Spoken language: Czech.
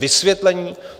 Vysvětlení.